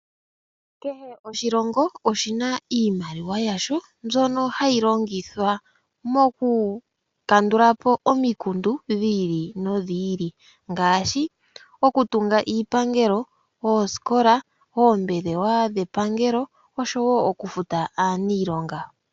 Kehe oshilongo oshina iimaliwa yasho, mbyono hayi hayi longithwa mokukandulapo omikundu dhiili nodhili ngaashi okutunga iipangelo , oosikola, oombelewa dhetu dhepangelo oshowoo okufuta aaniilonga.